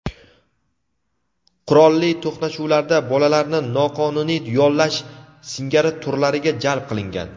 qurolli to‘qnashuvlarda bolalarni noqonuniy yollash singari turlariga jalb qilingan.